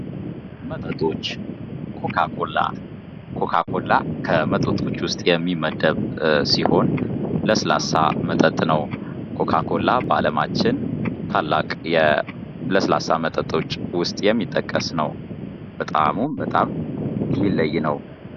መጠጦች ኮካኮላ ከመጠጦች ውስጥ የሚመደብ ሲሆን ለስላሳ መጠጥ ነው። ኮካኮላ በአለማችን ታላቅ የለስላሳ መጠጦች ውስጥ የሚጠቀስ ነው። በጣእሙም በጣም የሚለይ ነው።